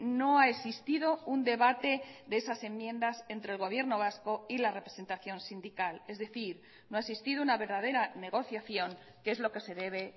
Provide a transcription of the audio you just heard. no ha existido un debate de esas enmiendas entre el gobierno vasco y la representación sindical es decir no ha existido una verdadera negociación que es lo que se debe